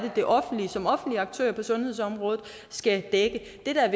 det offentlige som offentlig aktør på sundhedsområdet skal dække det der er